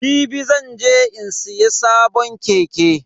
Jibi zan je in siya sabon keke.